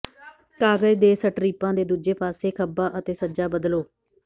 ਕਾਗਜ਼ ਦੇ ਸਟਰਿਪਾਂ ਦੇ ਦੂਜੇ ਪਾਸੇ ਖੱਬਾ ਅਤੇ ਸੱਜਾ ਬਦਲੋ